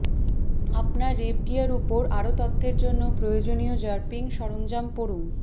আপনার wrap gear উপর আরও তথ্যের জন্য প্রয়োজনীয় র্যাপিং সরঞ্জাম পড়ুন